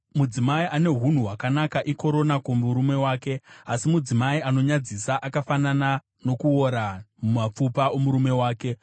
Mudzimai ane unhu hwakanaka ikorona kumurume wake, asi mudzimai anonyadzisa akafanana nokuora mumapfupa omurume wake.